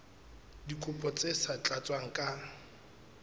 dikopo tse sa tlatswang ka